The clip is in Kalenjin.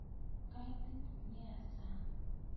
Kaitit nea sang'